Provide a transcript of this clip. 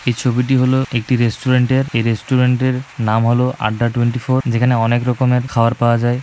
এই ছবিটি হল একটি রেস্টুরেন্ট এর এই রেস্টুরেন্ট এর নাম হলো আড্ডা টুয়েন্টিফোর যেখানে অনেক রকমের খাবার পাওয়া যায়।